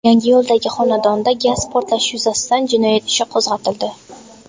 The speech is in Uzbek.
Yangiyo‘ldagi xonadonda gaz portlashi yuzasidan jinoyat ishi qo‘zg‘atildi.